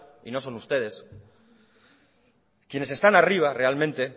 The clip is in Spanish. y no son ustedes quienes están arriba realmente